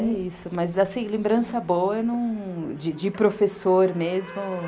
É isso, mas assim, lembrança boa de professor mesmo.